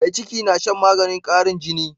Mai ciki na Shan maganin qarin jini